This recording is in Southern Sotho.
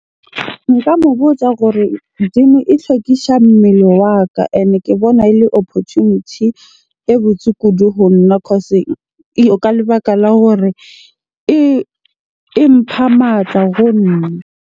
Nka mo botsa gore gym e hlwekisha mmele wa ka. Ene ke bona ele opportunity e botse kudu ho nna cause, ka lebaka la hore e mpha matla ho nna.